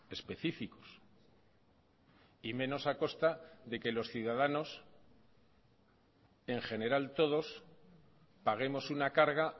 específicos y menos a costa de que los ciudadanos en general todos paguemos una carga